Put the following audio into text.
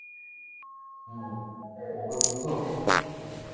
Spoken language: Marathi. हम्म बघतो काय होतंय